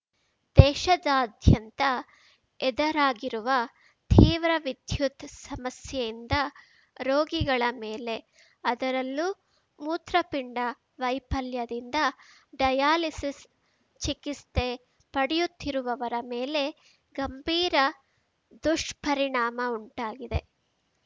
ದೇಶದಾದ್ಯಂತ ಎದರಾಗಿರುವ ತೀವ್ರ ವಿದ್ಯುತ್ ಸಮಸ್ಯೆಯಿಂದ ರೋಗಿಗಳ ಮೇಲೆ ಅದರಲ್ಲೂ ಮೂತ್ರಪಿಂಡ ವೈಫಲ್ಯದಿಂದ ಡಯಾಲಿಸಿಸ್ ಚಿಕಿಸ್ತೆ ಪಡೆಯುತ್ತಿರುವವರ ಮೇಲೆ ಗಂಭೀರ ದುಷ್ಪರಿಣಾಮ ಉಂಟಾಗಿದೆ